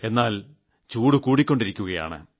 എന്നാൽ ചൂട് കൂടിക്കൊണ്ടിരിക്കുകയാണ്